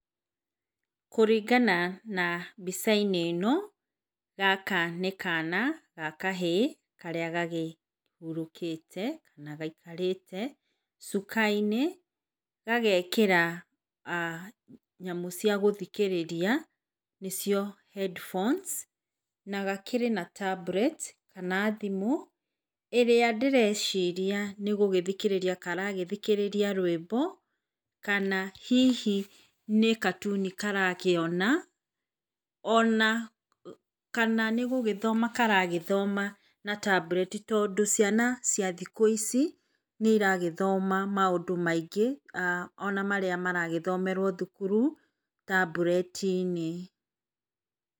Kũringana na mbica-inĩ ĩno, gaka nĩ kana, ga kahĩĩ. Karĩa gakĩhurũkĩte kana gaikarĩte, cukainĩ, gagekĩra nyamũ cia gũthikĩrĩria, nĩcio headphones nagakĩrĩ na tablet kana thimũ, ĩrĩa ndĩreciria nĩ gũthikĩrĩria karathikĩrĩria rwĩmbo, kana hihi, nĩ katuni karakĩona ona, kana nĩgũgĩthoma karagĩthoma na tablet tondũ, ciana cia thikũ ici, nĩ iragĩthoma maũndũ maingĩ, [ah]ona marĩa iragĩthomerwo thukuru taburetinĩ .